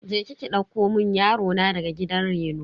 Je ki ki ɗauko mun yaro na daga gidan reno.